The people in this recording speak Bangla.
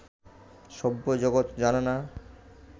সভ্য জগৎ জানে না